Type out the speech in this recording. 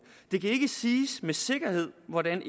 det kan ikke siges med sikkerhed hvordan